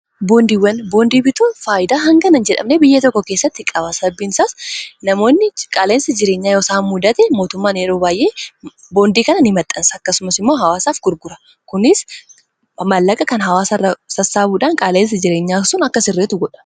boondiiwwan boondii bituu faayidaa hanganan jedhamne biyya tokko keessatti qabaasabiinsaas namoonni qaaleensa jireenyaa yosaa muudate mootummaan yeruobaayyee boondii kanani maxxansa akkasumas immoo hawaasaaf gurgura kunis mallaqa kan hawaasaa sassaabuudaan qaaleensa jireenyaa sun akka sirreetu godha